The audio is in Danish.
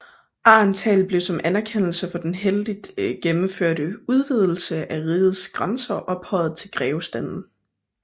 Aehrenthal blev som anerkendelse for den heldigt gennemførte udvidelse af rigets grænser ophøjet i grevestanden